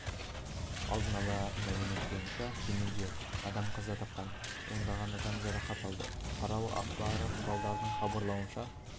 алдын ала мәлімет бойынша кемінде адам қаза тапқан ондаған адам жарақат алды бұқаралық ақпарат құралдарының хабарлауынша